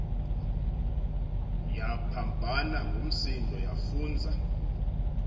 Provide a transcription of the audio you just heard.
yaphambana ngumsindo yafunza